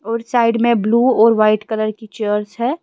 और साइड में ब्लू और वाइट कलर की चेयर्स है।